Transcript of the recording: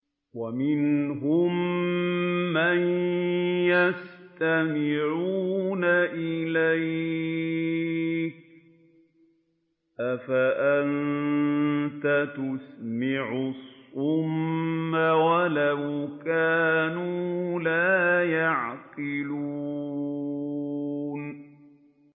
وَمِنْهُم مَّن يَسْتَمِعُونَ إِلَيْكَ ۚ أَفَأَنتَ تُسْمِعُ الصُّمَّ وَلَوْ كَانُوا لَا يَعْقِلُونَ